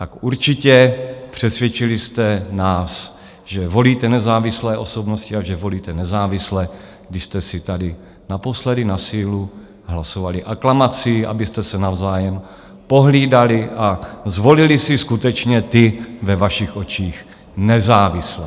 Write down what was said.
Tak určitě, přesvědčili jste nás, že volíte nezávislé osobnosti a že volíte nezávisle, když jste si tady naposledy na sílu hlasovali aklamací, abyste se navzájem pohlídali a zvolili si skutečně ty ve vašich očích nezávislé.